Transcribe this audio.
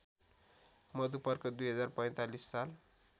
मधुपर्क २०४५ साल